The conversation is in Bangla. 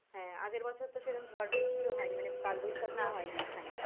হ্যাঁ আগের বছর তো সেরকম ঝড় বৃষ্টি ও হয়নি মানে কালবৈশাখী ও হয়নি এখানে